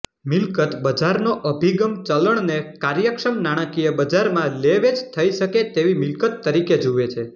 મિલકત બજારનો અભિગમ ચલણને કાર્યક્ષમ નાણાકીય બજારમાં લેવેચ થઈ શકે તેવી મિલકત તરીકે જુએ છે